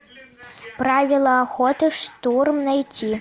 правила охоты штурм найти